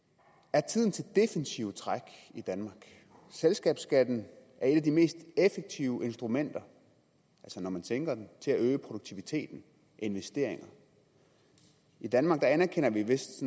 er tiden til defensive træk i danmark selskabsskatten er et af de mest effektive instrumenter altså når man tænker den til at øge produktivitet og investeringer i danmark anerkender vi vist